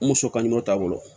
N muso ka ɲinɛ t'a bolo